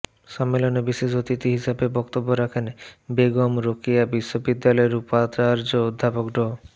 সম্মেলনে বিশেষ অতিথি হিসেবে বক্তব্য রাখেন বেগম রোকেয়া বিশ্ববিদ্যালয়ের উপাচার্য অধ্যাপক ড